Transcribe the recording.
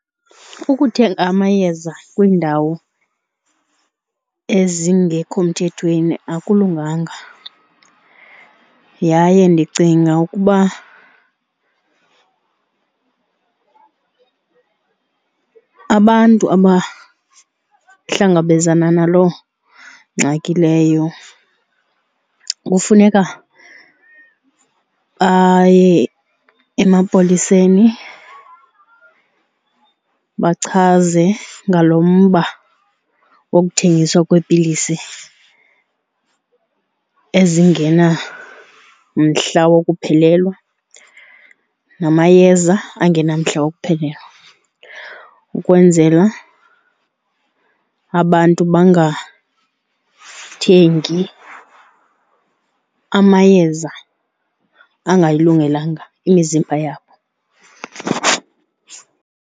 Ukuthenga amayeza kwiindawo ezingekho mthethweni akulunganga. Yaye ndicinga ukuba abantu abahlangabezana naloo ngxaki leyo kufuneka baye emapoliseni bachaze ngalo mba wokuthengiswa kweepilisi ezingenamhla wokuphelelwa namayeza angenamhla wokuphelelwa, ukwenzela abantu bengathengi amayeza angayilungelanga imizimba yabo.